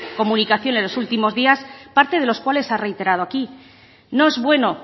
comunicación en los últimos días parte de los cuales ha reiterado aquí no es bueno